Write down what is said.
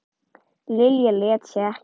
Lilja lét sig ekki.